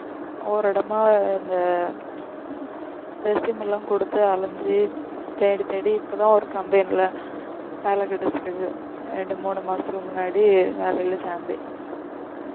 ஒவ்வொரு இடமா இந்த resume எல்லாம் கொடுத்து அலைஞ்சு தேடி தேடி இப்பதான் ஒரு company ல வேல கிடைச்சுது ரெண்டு மூணு மாசத்துக்கு முன்னாடி வேலைல சேர்ந்தேன்